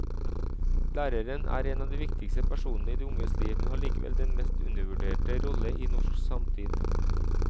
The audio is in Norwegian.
Læreren er en av de viktigste personene i de unges liv, men har likevel den mest undervurderte rolle i norsk samtid.